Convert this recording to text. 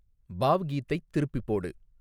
பாவ்கீத்தைத் திருப்பிப் போடு